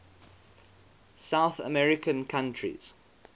south american countries